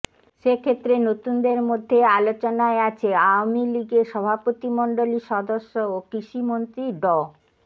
সে ক্ষেত্রে নতুনদের মধ্যে আলোচনায় আছে আওয়ামী লীগের সভাপতিমণ্ডলীর সদস্য ও কৃষিমন্ত্রী ড